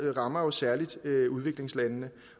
rammer jo særlig udviklingslandene